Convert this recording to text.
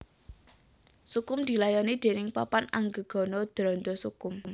Sukhum dilayani déning Papan Anggegana Dranda Sukhum